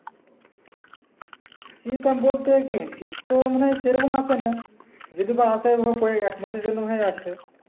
শীতাম বলতে কি, শীত তো মনে হয় সে রকম আসে না। যেহেতু বা আসে ওইভাবে একমাসের জন্য হয়ে আসে।